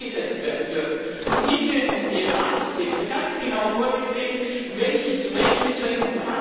eingesetzt werden dürfen, und hierfür ist im PNR System ganz genau vorgesehen, welche zu welchen Zwecken.